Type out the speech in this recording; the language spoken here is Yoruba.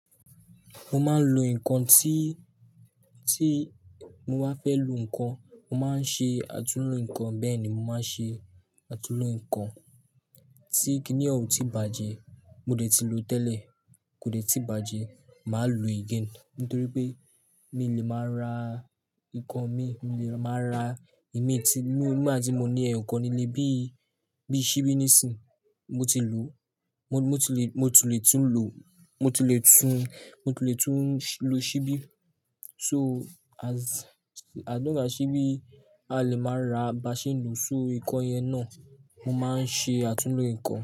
Mo máa ń lo nǹkan tí, tí mo bá fẹ́ lo nǹkan, mo máa ń ṣe àtúnlo nǹkan. Bẹ́ẹ̀ ni, mo máa ń ṣe àtúnlo nǹkan tí kíní ọ̀ún tí bàjẹ́ mo dẹ̀ ti lo tẹ́lẹ̀, kò dẹ̀ tí bàjẹ́ máa lo again. Nítorí pé mi lè máa ra nǹkan mi, mi lè máa ra ìmiti nígbà tí mo ní ẹ̀yàn kan nílé bí, bí ṣíbí nísìń mo ti lò. Mo, mo ti lè, mo ti lè tún lò, mo ti lè tún, mo ti lè tún lo ṣíbí. So as, I don't have ṣíbí a lè máa ra baṣẹ́ lòó, so nǹkan yẹn náà. Mo máa ń ṣe àtúnlo nǹkan.